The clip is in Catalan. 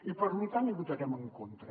i per lo tant hi votarem en contra